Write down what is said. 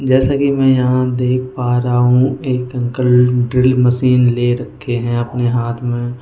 जैसे कि मैं यहां देख पा रहा हूं एक अंकल ड्रिल मशीन ले रखे हैं अपने हाथ में।